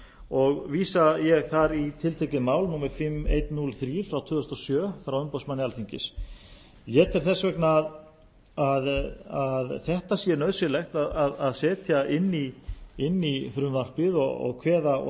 og vísa ég þar í tiltekið mál númer fimm þúsund hundrað og þrjú tvö þúsund og sjö frá umboðsmanni alþingis ég tel þess vegna að þetta sé nauðsynlegt að setja inn í frumvarpið og